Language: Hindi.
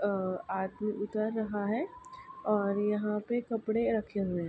अ आदमी उतर रहा है और यहाँ पे कपड़े रखे हुए हैं।